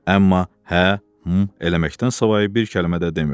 Amma hə, hm eləməkdən savayı bir kəlmə də demirdi.